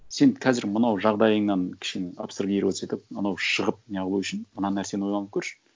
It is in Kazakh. сен қазір мынау жағдайыңнан кішкене абстрагироваться етіп анау шығып не қылу үшін мына нәрсені ойланып көрші